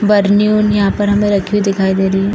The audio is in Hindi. बरनी-उरनी यहाँ पर हमें रखी हुई दिखाई दे रही है।